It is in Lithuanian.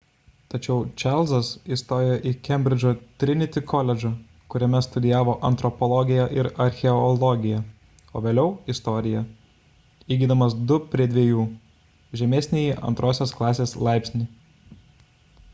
tačiau čarlzas įstojo į kembridžo trinity koledžą kuriame studijavo antropologiją ir archeologiją o vėliau – istoriją įgydamas 2:2 žemesnįjį antrosios klasės laipsnį